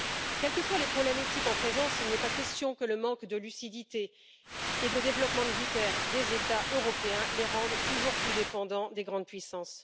Quels que soient les problèmes éthiques en présence, il n'est pas question que le manque de lucidité et de développement militaire des États européens rende ceux ci toujours plus dépendants des grandes puissances.